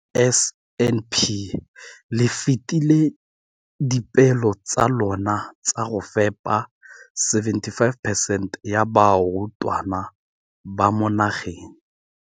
Ka NSNP le fetile dipeelo tsa lona tsa go fepa masome a supa le botlhano a diperesente ya barutwana ba mo nageng.